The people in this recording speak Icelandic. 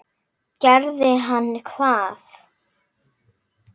Gerði hann hvað?